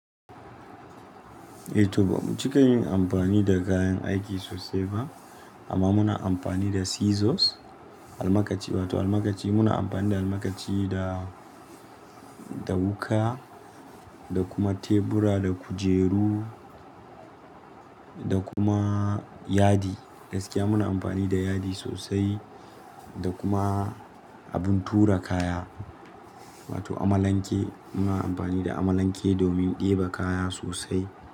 Eh to ba mu cika yin amfani da kayan aiki sosai ba amma muna amfani da scissors, almakaci, batu almakaci muna amfani da almakaci da, da wuka da kuma tebura da kujeru da kuma yadi, gaskiya muna amfani da yadi sosai da kuma abin tura kaya, batu amalanke muna amfani da amalanke domin ɗebe kaya sosai.